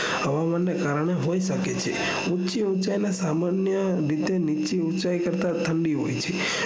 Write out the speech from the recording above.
હવામાન ના કારણે હોઈ શકે છે ઉંચી સામાન્ય રીતે નીચી ઉંચાઈ કરતા ઠંડી હોય છે